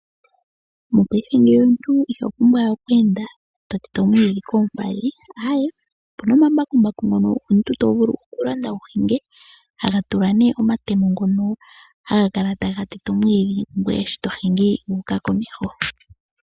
Mopaife ngeyi omuntu ihopumbwa we okweenda totete omwiidhi koompadhi aaye opuna omambakumbaku ngono omuntu tovulu okulanda wuhinge haga tulwa nee omatemo ngono haga kala taga tete omwiidhi, ngweye sho tohingi wu uka komeho.